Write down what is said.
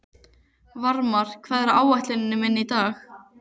Varmar, hvað er á áætluninni minni í dag?